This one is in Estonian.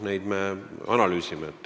Neid me analüüsime.